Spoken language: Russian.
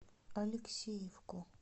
алексеевку